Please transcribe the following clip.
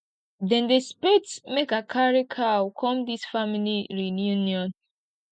dem dey expect make i carry cow come dis family reunion